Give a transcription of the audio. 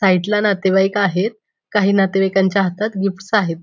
साईडला नातेवाईक आहेत काही नातेवाईकांच्या हातात गिफ्ट्स आहेत.